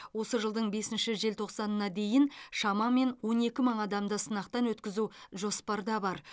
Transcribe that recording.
осы жылдың бесінші желтоқсанына дейін шамамен он екі мың адамды сынақтан өткізу жоспарда бар